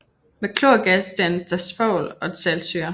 Med klorgas dannes der svovl og saltsyre